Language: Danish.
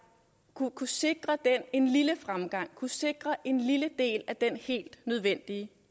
kunne kunne sikre den en lille fremgang kunne sikre en lille del af den helt nødvendige